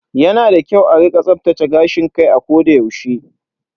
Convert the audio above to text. Yana da kyau a rika tsaftace gashin kai a koda yaushe.